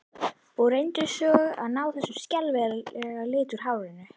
Og reyndu svo að ná þessum skelfilega lit úr hárinu!